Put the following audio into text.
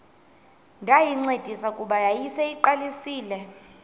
ndayincedisa kuba yayiseyiqalisile